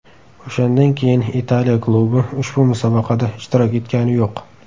O‘shandan keyin Italiya klubi ushbu musobaqada ishtirok etgani yo‘q.